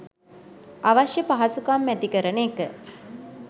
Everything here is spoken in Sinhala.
අවශ්‍ය පහසුකම් ඇති කරන එක.